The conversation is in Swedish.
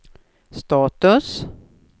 status